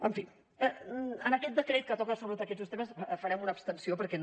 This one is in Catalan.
en fi en aquest decret que toca sobretot aquests dos temes farem una abstenció perquè no